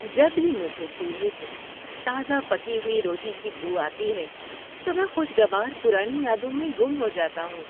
جب بھی مجھے چولہے سے تازہ پکی ہوئی روٹی کی بو آتی ہے تو میں خوشگوار پرانی یادوں میں گم ہو جاتا ہوں۔